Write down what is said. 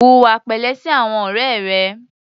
Hùwà pẹ̀lẹ́ sí àwọn ọ̀rẹ́ rẹ.